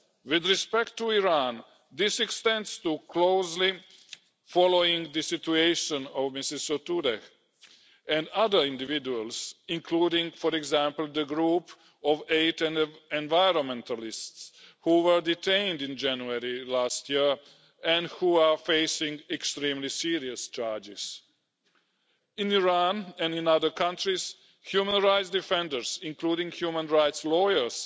With respect to Iran, this extends to closely following the situation of Ms Sotoudeh and other individuals, including, for example, the group of eight environmentalists who were detained in January last year and who are facing extremely serious charges. In Iran and in other countries, human rights defenders, including human rights lawyers,